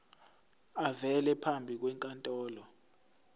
avele phambi kwenkantolo